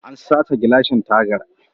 An sace gilashin tagar